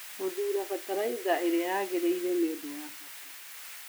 Gũthuura bataraitha ĩrĩa yagĩrĩire nĩ ũndũ wa bata.